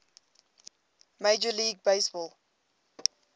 major league baseball